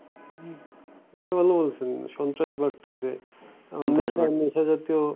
হম এটা ভালো বলছেন সন্ত্রাস বাড়তেছে নেশা নেশা জাতীয়